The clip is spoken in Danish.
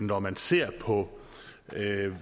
når man ser på